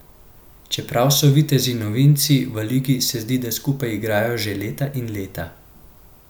Čeprav so vitezi novinci v ligi, se zdi, da skupaj igrajo že leta in leta.